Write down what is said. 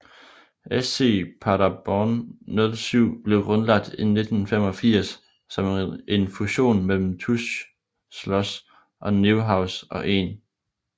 SC Paderborn 07 blev grundlagt i 1985 som en fusion mellem TuS Schloß Neuhaus og 1